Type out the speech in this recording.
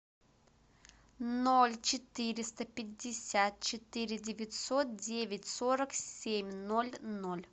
ноль четыреста пятьдесят четыре девятьсот девять сорок семь ноль ноль